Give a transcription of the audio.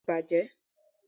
bẹẹni, o tí bajé